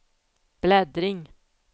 bläddring